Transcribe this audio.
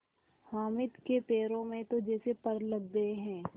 हामिद के पैरों में तो जैसे पर लग गए हैं